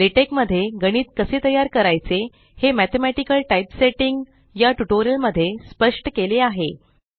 LaTeX मध्ये गणित कसे तयार करायचे हे मॅथेमॅटिकल टाइपसेटिंग गणितिय टाइप सेटिंग या ट्यूटोरियल मध्ये स्पष्ट केले आहे